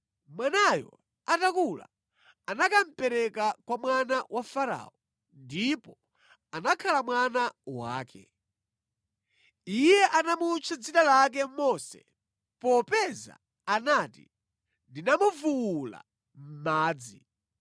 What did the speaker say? Mwanayo atakula anakamupereka kwa mwana wa Farao ndipo anakhala mwana wake. Iye anamutcha dzina lake Mose, popeza anati, “Ndinamuvuwula mʼmadzi.”